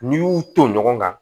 N'i y'u to ɲɔgɔn kan